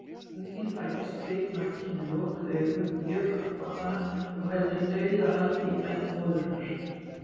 Unginn fæðist kviknakinn með lokuð augu, mjög hjálparvana og heldur dauðahaldi í feld móðurinnar.